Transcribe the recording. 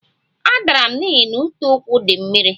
A dara m n'ihi na uteụkwụ di mmiri